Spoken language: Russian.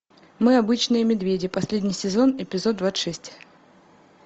мы обычные медведи последний сезон эпизод двадцать шесть